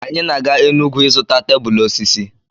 Anyị na-aga Enugwu ịzụta tebụl osisi.